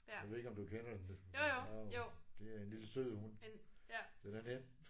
Jeg ved ikke om du kender den den er meget. Det er en lille sød hund. Den er den er nem